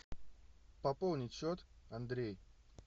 пополнить счет андрей